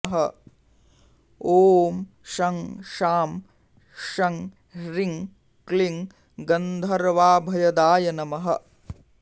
ॐ शं शां षं ह्रीं क्लीं गन्धर्वाभयदाय नमः